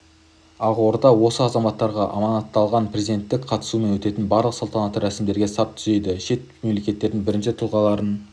ақорда осы азаматтарға аманатталған президенттің қатысуымен өтетін барлық салтанатты рәсімдерде сап түзейді шет мемлекеттердің бірінші тұлғаларын